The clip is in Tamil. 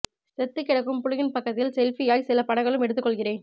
செத்துக் கிடக்கும் புலியின் பக்கத்தில் செல்பியாய் சில படங்களும் எடுத்துக் கொள்கிறேன்